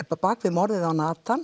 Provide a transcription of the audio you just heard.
bak við morðið á